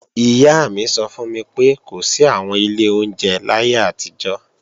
Ìyá mi sọ fún mi pé kò sí àwọn ilé oúnjẹ láyé àtijọ́